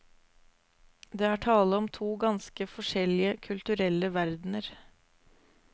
Det er tale om to ganske forskjellige kulturelle verdener.